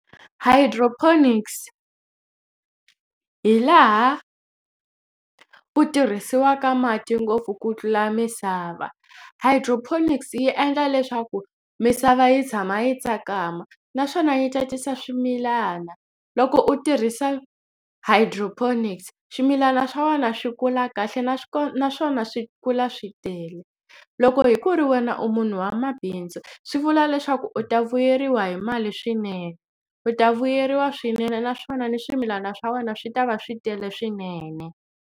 Hydroponics hi laha ku tirhisiwaka mati ngopfu ku tlula misava. Hydroponics yi endla leswaku misava yi tshama yi tsakama naswona yi tsakisa swimilana loko u tirhisa hydroponics swimilana swa wena swi kula kahle naswona swi kula swi tele loko hi ku ri wena u munhu wa mabindzu swi vula leswaku u ta vuyeriwa hi mali swinene u ta vuyeriwa swinene naswona ni swimilana swa wena swi ta va swi tele swinene.